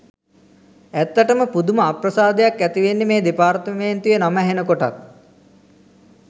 ඇත්තටම පුදුම අප්‍රසාදයක් ඇතිවෙන්නෙ මේ දෙපාර්තමේන්තුවේ නම ඇහෙනකොටත්.